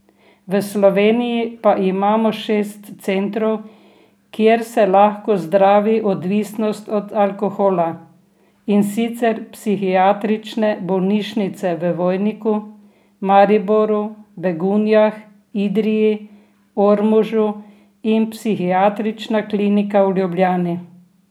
V Sloveniji pa imamo šest centrov, kjer se lahko zdravi odvisnost od alkohola, in sicer psihiatrične bolnišnice v Vojniku, Mariboru, Begunjah, Idriji, Ormožu in Psihiatrična klinika v Ljubljani.